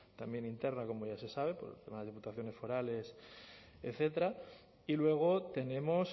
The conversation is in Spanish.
también interna como ya se sabe por el tema de diputaciones forales etcétera y luego tenemos